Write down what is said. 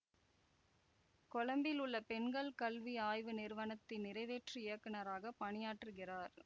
கொழும்பில் உள்ள பெண்கள் கல்வி ஆய்வு நிறுவனத்தின் நிறைவேற்று இயக்குனராக பணியாற்றுகிறார்